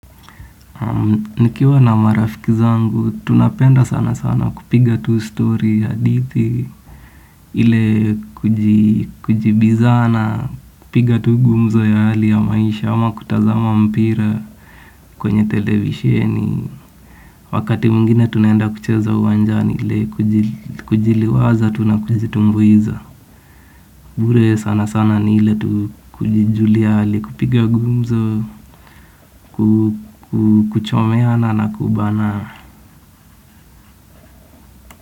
Nikiwa na marafiki zangu, tunapenda sana sana kupiga tuu story ya adidhi, ile kujibizana, kupiga tuu gumzo ya hali ya maisha, ama kutazama mpira kwenye televisheni. Wakati mwingine tunaenda kucheza uwanjani ile kujiliwaza, tunakujitumbuiza. Mbure sana sana ni ile tuu kujijulia hali, kupiga gumzo, kuchomeana na kubana.